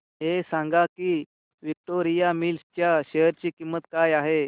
हे सांगा की विक्टोरिया मिल्स च्या शेअर ची किंमत काय आहे